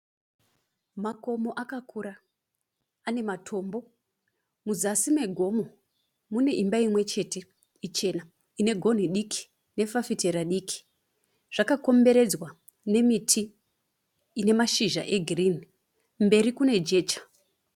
Makomo akakura ane matombo muzasi megomo mune imba imwe chete ichena ine gonhi diki nefafitera diki zvakakomberedzwa nemiti ine mashizha egirini mberi kune jecha